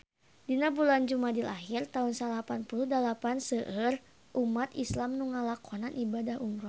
Dina bulan Jumadil ahir taun salapan puluh dalapan seueur umat islam nu ngalakonan ibadah umrah